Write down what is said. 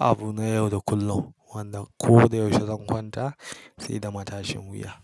abu na yau da kullum wanda ko da yaushe zan kwanta sai da matashin wuya.